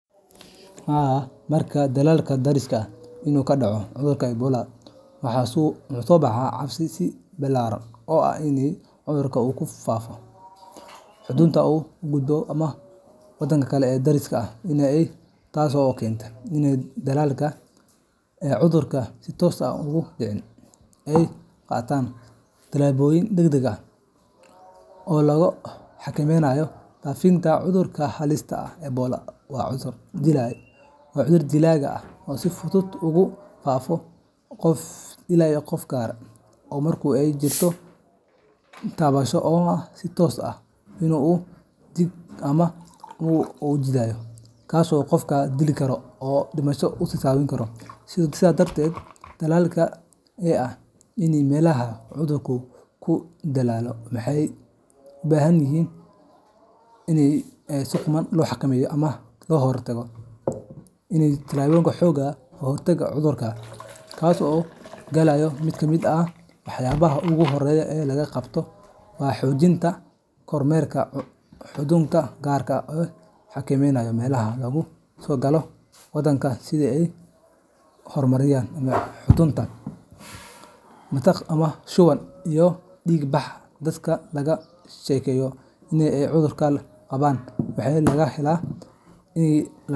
Haa, marka dalalka dariska ah uu ka dhaco cudurka Ebola, waxaa soo baxa cabsi ballaaran oo ah in cudurkaas uu ku faafo xuduudaha una gudbo waddamada kale ee deriska la ah, taasoo keenta in dalalka aan cudurka si toos ah uga dhicin ay qaadaan tallaabooyin degdeg ah oo lagu xakameynayo faafitaanka cudurkaas halista ah. Ebola waa cudur dilaaga ah oo si fudud ugu faafo qof ilaa qof, gaar ahaan marka ay jirto taabasho toos ah oo dhiig ama dheecaanno jidheed ah la yeesho qof qaba cudurka. Sidaas darteed, dalalka deriska la ah meelaha uu cudurku ka dillaacay waxay u baahan yihiin feejignaan dheeraad ah iyo in ay qaataan tallaabooyin xooggan oo looga hortagayo in cudurka gudaha u soo galo. Mid ka mid ah waxyaabaha ugu horreeya ee la qabto waa xoojinta kormeerka xuduudaha, gaar ahaan meelaha laga soo galo waddanka sida garoomada diyaaradaha, xuduudaha dhulka iyo dekedaha. Waxaa la sameeyaa baaritaanno caafimaad oo adag oo lagu eegayo calaamadaha cudurka sida qandho, matag, shuban, iyo dhiig bax. Dadka laga shakiyo in ay cudurka qabaan waxaa lagu haela.